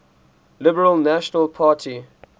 liberal national party